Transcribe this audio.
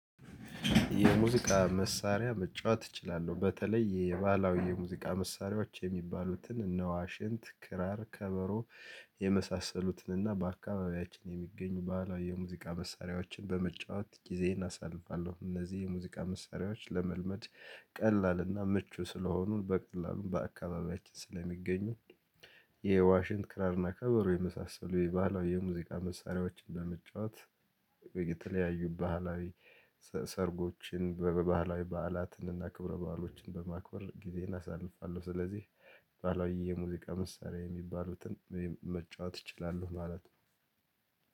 የሙዚቃ መሳሪያ መጫወት እችላለሁ በተለይ የባህላዊ የሙዚቃ መሳሪያዎች የሚባሉትን እነዋሽንት ክራር ከበሮ የመሳሰሉትን እና በአካባቢያችን የሚገኙ ባህላዊ የሙዚቃ መሳሪያዎችን በመጫወት ጊዜዬን አሳልፋለሁ። እነዚህ የሙዚቃ መሳሪያዎች ለመልመድ ቀላልና ምቹ ስለሆኑ በቀላሉም በአካባቢያችን ስለሚገኙ የዋሽንት ክራርና ከበሩ የመሳሰሉ የባህላዊ የሙዚቃ መሳሪያዎችን ለመጫወት። የተለያዩ ባህላዊ ሰርጎችን በባህላዊ በዓላትን እና ክብረ በዓሎችን በማክበር ጊዜን አሳልፋለሁ። ስለዚህ ባህላዊ የሙዚቃ መሳሪያ የሚባሉትን መጫወት እችላለሁ ማለት ነው።